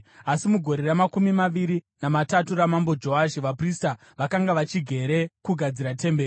Asi mugore ramakumi maviri namatatu raMambo Joashi vaprista vakanga vachigere kugadzira temberi.